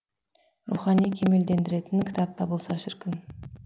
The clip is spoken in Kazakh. рухани кемелдендіретін кітап табылса шіркін